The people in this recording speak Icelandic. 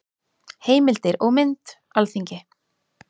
Heimildir og mynd: Alþingi.